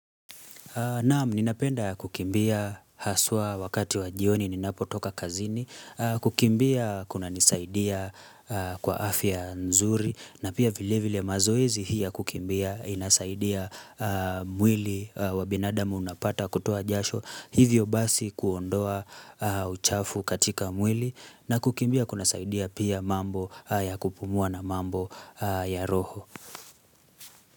Naam, ninapenda kukimbia haswa wakati wajioni ninapo toka kazini, kukimbia kuna nisaidia kwa afya nzuri, na pia vile vile mazoezi hii ya kukimbia inasaidia mwili wa binadamu unapata kutoa jasho, hivyo basi kuondoa uchafu katika mwili, na kukimbia kuna saidia pia mambo ya kupumua na mambo ya roho.